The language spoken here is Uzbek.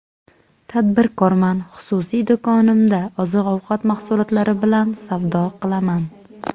Tadbirkorman, xususiy do‘konimda oziq-ovqat mahsulotlari bilan savdo qilaman.